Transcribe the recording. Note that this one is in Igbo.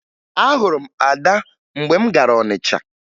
Ahụrụ m Ada mgbe m gara Ọnịcha